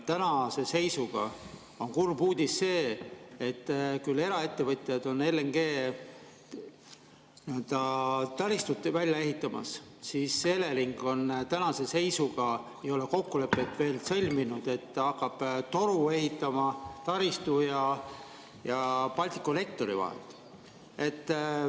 Ja kurb uudis on see, et kui eraettevõtjad on LNG‑taristut välja ehitamas, siis Elering tänase seisuga ei ole veel kokkulepet sõlminud, et hakkab toru ehitama taristu ja Balticconnectori vahel.